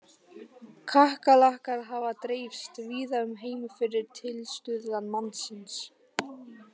Kakkalakkar hafa dreifst víða um heim fyrir tilstuðlan mannsins.